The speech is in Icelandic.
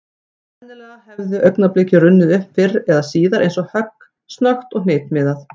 Og sennilega hefði augnablikið runnið upp fyrr eða síðar eins og högg, snöggt og hnitmiðað.